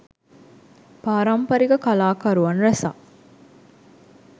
පාරම්පරික කලාකරුවන් රැසක්